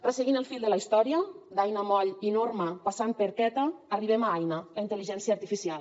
resseguint el fil de la història d’aina moll i norma passant per queta arribem a aina la intel·ligència artificial